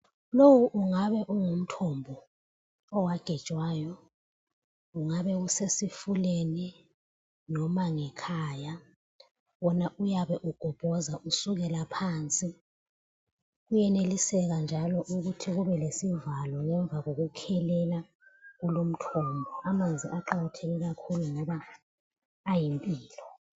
Lowu ungabe ungumthombo owagejwayo, ungabe usesifuleni noma ngekhaya. Wona uyabe ugobhoza usukela phansi. Kuyeneliseka njalo ukuthi kube lesivalo ngemva kokukhelela kulo umthombo. Amanzi aqakatheke kakhulu ngoba ayimpilo.